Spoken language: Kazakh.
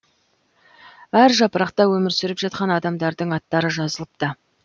әр жапырақта өмір сүріп жатқан адамдардың аттары жазылыпты